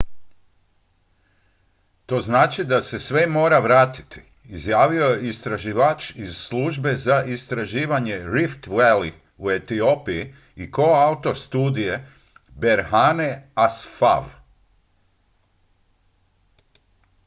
to znači da se sve mora vratiti izjavio je istraživač iz službe za istraživanje rift valley u etiopiji i koautor studije berhane asfaw